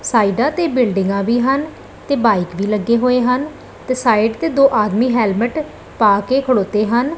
ਸਾਈਡਾਂ ਤੇ ਬਿਲਡਿੰਗਾਂ ਵੀ ਹਨ ਤੇ ਬਾਈਕ ਵੀ ਲੱਗੇ ਹੋਏ ਹਨ ਤੇ ਸਾਈਡ ਤੇ ਦੋ ਆਦਮੀ ਹੈਲਮਟ ਪਾ ਕੇ ਖਲੋਤੇ ਹਨ।